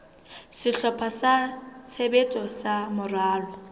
sehlopha sa tshebetso sa moralo